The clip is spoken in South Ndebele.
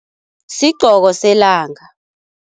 Sigqoko selanga.